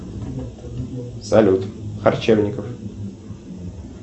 салют корчевников